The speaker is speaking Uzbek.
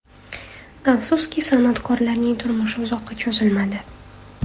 Afsuski, san’atkorlarning turmushi uzoqqa cho‘zilmadi.